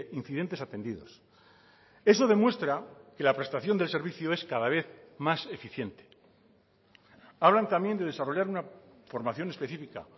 incidentes atendidos eso demuestra que la prestación del servicio es cada vez más eficiente hablan también de desarrollar una formación específica